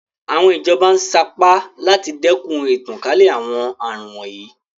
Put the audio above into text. Àwọn ìjọba ń sa ipá láti dẹ́kun ìtànkálẹ̀ àwọn àrùn wọ̀nyí.